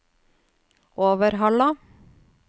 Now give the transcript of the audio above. Overhalla